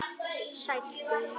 Sæll Guðni.